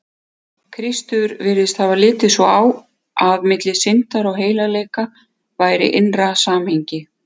Kristur virðist hafa litið svo á, að milli syndar og heilagleika væri innra samhengi.